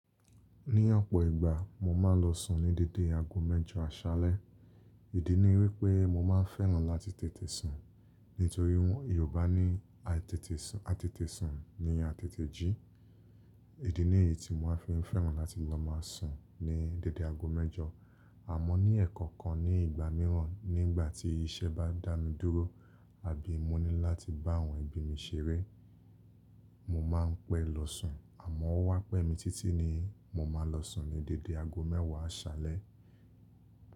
Ní ọ̀pọ̀ ìgbà mo máa ń lọ sùn ní dédé ago mẹ́jọ àṣálẹ́. Ìdí ni wípé mo máa ń fẹ́ràn láti tètè sùn. Nítorí wọ́n Yorùbá ní atètè sùn ni atètè jí. Ìdí ní èyí tí mo fi ń fẹ́ràn láti lọ máa ń sùn ní dédé ago mẹ́jọ. Àmọ́ ní ẹ̀kan kan ní ìgbà mìíràn nígbà tí iṣẹ́ bá dá mi dúró àbí mo ní láti bá àwọn ẹbí mi ṣeré, mo máa ń pẹ́ lọ sùn. Àmọ́ ó wá pẹ́ mi títí ni mo máa lọ sùn ní dédé ago mẹ́wàá àṣálẹ́.